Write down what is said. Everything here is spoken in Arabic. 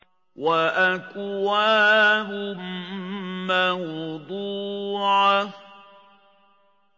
وَأَكْوَابٌ مَّوْضُوعَةٌ